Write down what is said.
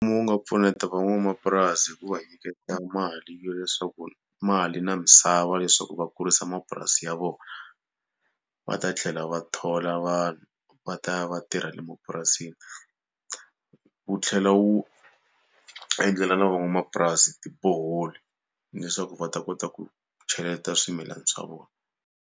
Wu nga pfuneta van'wamapurasi hi ku va nyiketa mali yo leswaku, mali na misava leswaku va kurisa mapurasi ya vona, va ta tlhela va thola vanhu va ta ya va tirha le mapurasini. Wu tlhela wu endlela na van'wamapurasi tiboholi leswaku va ta kota ku cheleta swimilana swa vona.